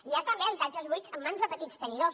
hi ha també habitatges buits en mans de petits tenidors